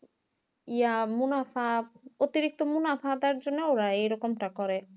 ইয়া মুনাফা অতিরিক্ত মুনাফা আয়ের জন্য ওরা এরকম টা করে